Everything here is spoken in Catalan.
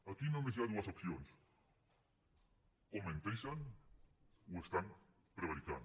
aquí només hi ha dues opcions o menteixen o prevariquen